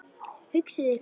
Hugsið ykkur!